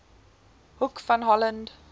hoek van holland